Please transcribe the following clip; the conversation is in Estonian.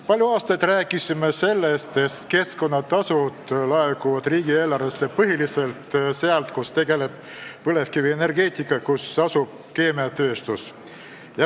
Palju aastaid oleme rääkinud sellest, et keskkonnatasud laekuvad riigieelarvesse põhiliselt sealt, kus tegeldakse põlevkivienergeetikaga ja kus asub keemiatööstus.